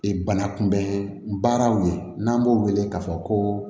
Ee banakunbɛn baaraw ye n'an b'o wele k'a fɔ ko